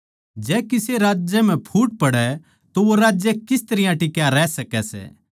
जै किसे राज्य म्ह फुट पड़ै तो वो राज्य किस तरियां टिक्या रह सकै सै